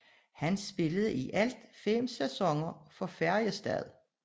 Han spillede i alt fem sæsoner for Färjestad